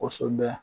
Kosɛbɛ